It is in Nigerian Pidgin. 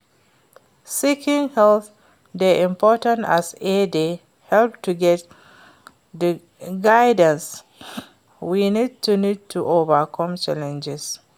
seeking help dey important as e dey help to get di guidance wey we need to overcome challenges.